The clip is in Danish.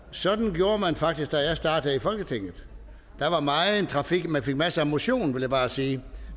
sådan gjorde man faktisk da jeg startede i folketinget der var megen trafik og man fik masser af motion vil jeg bare sige